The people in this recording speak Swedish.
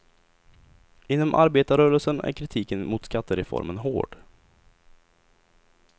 Inom arbetarrörelsen är kritiken mot skattereformen hård.